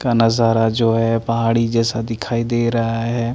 का नजारा जो है पहाड़ी जैसा दिखाई दे रहा है।